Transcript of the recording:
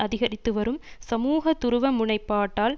அதிகரித்து வரும் சமூக துருவ முனைப்பாட்டால்